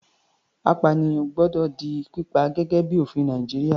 Apànìyàn gbọ́dọ̀ di pípa, gẹ́gẹ́ bíi ofin Nàìjíríà.